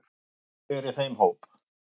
Ég er í þeim hóp.